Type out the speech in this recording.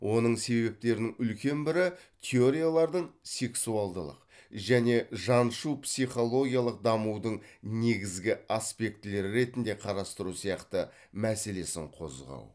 оның себептерінің үлкен бірі теориялардың сексуалдылық және жаншу психологиялық дамудың негізгі аспектілері ретінде қарастыру сияқты мәселесін қозғау